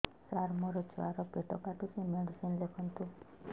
ସାର ମୋର ଛୁଆ ର ପେଟ କାଟୁଚି ମେଡିସିନ ଲେଖନ୍ତୁ